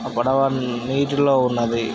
ఆ పడవ ఆ నీటిలో ఉన్నది.